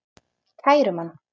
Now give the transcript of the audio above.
Kærum hann.